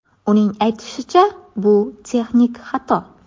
Uning aytishicha, bu texnik xato.